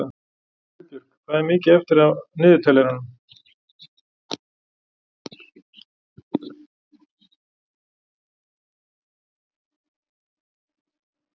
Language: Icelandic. Friðbjörg, hvað er mikið eftir af niðurteljaranum?